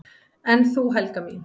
"""En þú, Helga mín?"""